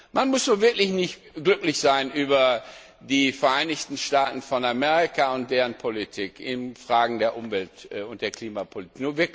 Man muss wirklich nicht glücklich sein über die Vereinigten Staaten von Amerika und deren Politik in Fragen der Umwelt und der Klimapolitik.